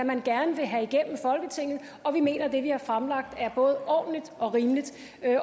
man gerne vil have igennem folketinget og vi mener at det vi har fremlagt er både ordentligt og rimeligt